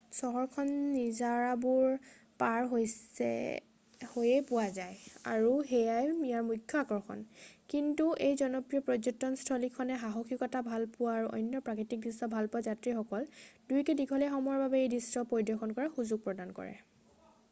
চহৰখন নিজৰাবোৰ পাৰ হৈয়ে পোৱা যায় আৰু সেয়াই ইয়াৰ মুখ্য আকৰ্ষণ কিন্তু এই জনপ্ৰিয় পৰ্যটন স্থলীখনে সাহসীকতা ভালপোৱা আৰু অন্য প্ৰাকৃতিক দৃশ্য ভালপোৱা যাত্ৰীসকল দুয়োকে দীঘলীয়া সময়ৰ বাবে এই দৃশ্য পৰিদৰ্শন কৰাৰ সুযোগ প্ৰদান কৰে